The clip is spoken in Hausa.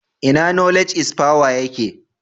Ina Knowledge is power yake?